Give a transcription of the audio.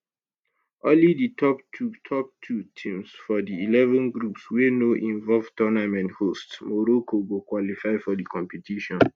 only di top two top two teams for di eleven groups wey no involve tournament hosts morocco go qualify for di competition